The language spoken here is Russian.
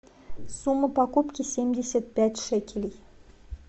сумма покупки семьдесят пять шекелей